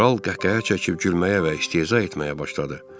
Kral qəhqəhə çəkib gülməyə və istehza etməyə başladı.